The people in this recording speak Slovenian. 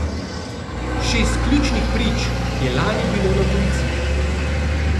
Šest ključnih prič je lani bilo na policiji.